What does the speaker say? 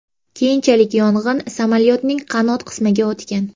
Keyinchalik yong‘in samolyotning qanot qismiga o‘tgan.